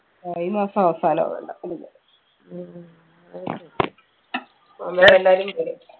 ആയ ഈ മാസം അവസാനാ വേണ്ടേ ഉം